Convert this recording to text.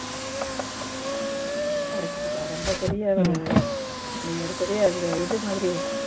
எடுத்துக்குவா ரொம்ப பெரிய ஒரு நீங்க ஒரு பெரிய ஒரு இது மாதிரி